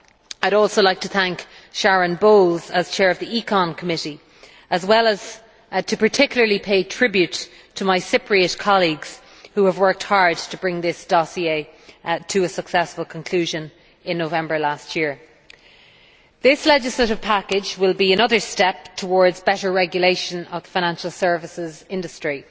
I would also like to thank Sharon Bowles as Chair of the Committee on Economic and Monetary Affairs, as well as to particularly pay tribute to my Cypriot colleagues who have worked hard to bring this dossier to a successful conclusion in November last year. This legislative package will be another step towards better regulation of the financial services industry.